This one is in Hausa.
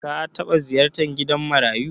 Ka taɓa ziyartar gidan marayu?